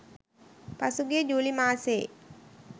පසුගිය ජූලි මාසයේ.